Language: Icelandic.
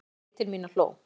Hún leit til mín og hló.